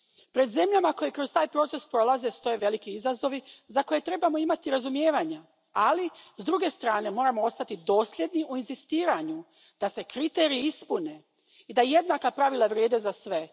Pred zemljama koje kroz taj proces prolaze stoje veliki izazovi za koje trebamo imati razumijevanja, ali s druge strane moramo ostati dosljedni u inzistiranju da se kriteriji ispune i da jednaka pravila vrijede za sve.